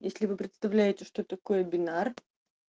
если вы представляете что такое бинар